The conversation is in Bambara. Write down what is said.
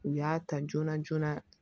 U y'a ta joona joona